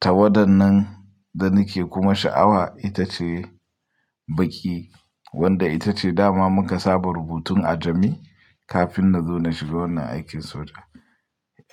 Tawada nan da nake kuma sha'awa ita ce baƙi wadda ita ce dama muka saba rubutun a jami'i kafin na zo na shiga wannan aikin soja.